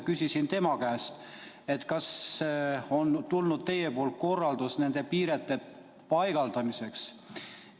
Küsisin tema käest, kas tema on andnud korralduse nende piirete paigaldamiseks.